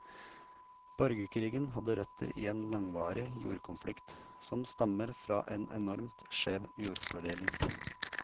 Borgerkrigen hadde røtter i en langvarig jordkonflikt, som stammer fra en enormt skjev jordfordeling.